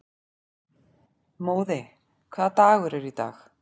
Móði, hvaða dagur er í dag?